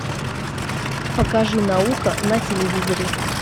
покажи наука на телевизоре